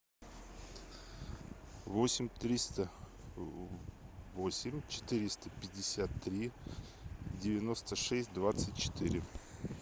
восемь триста восемь четыреста пятьдесят три девяносто шесть двадцать четыре